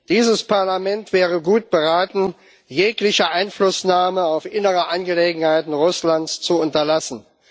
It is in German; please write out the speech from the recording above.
Dieses Parlament wäre gut beraten, jegliche Einflussnahme auf innere Angelegenheiten Russlands zu unterlassen.